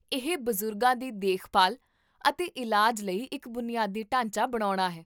ਇਹ ਬਜ਼ੁਰਗਾਂ ਦੀ ਦੇਖਭਾਲ ਅਤੇ ਇਲਾਜ ਲਈ ਇੱਕ ਬੁਨਿਆਦੀ ਢਾਂਚਾ ਬਣਾਉਣਾ ਹੈ